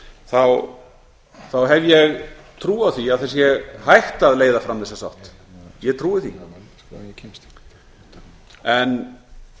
þá hef ég trú á því að það sé hægt að leiða fram þessa sátt ég trúi því en